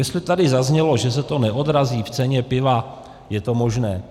Jestli tady zaznělo, že se to neodrazí v ceně piva, je to možné.